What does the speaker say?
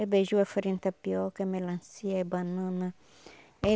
É beiju, é farinha de tapioca, é melancia, é banana é